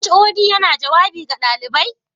HOD yana jawabi ga ɗalibai?